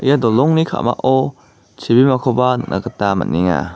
ia dolongni ka·mao chibimakoba nikna gita man·enga.